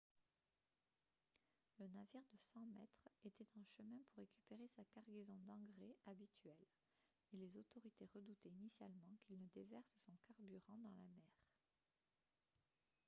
la navire de 100 mètres était en chemin pour récupérer sa cargaison d'engrais habituelle et les autorités redoutaient initialement qu'il ne déverse son carburant dans la mer